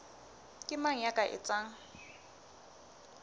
ke mang ya ka etsang